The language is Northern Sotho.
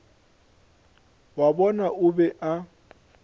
wa bona o be a